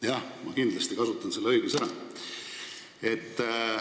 Jah, ma kindlasti kasutan selle õiguse ära.